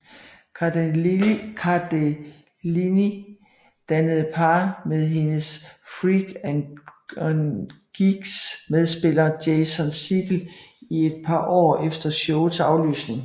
Cardellini dannede par med hendes Freaks and Geeks medspiller Jason Segel i et par år efter showets aflysning